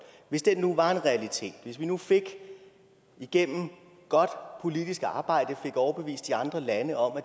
hvis det nu var en realitet hvis vi nu igennem godt politisk arbejde fik overbevist de andre lande om at